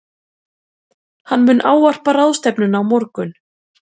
Hann mun ávarpa ráðstefnuna á morgun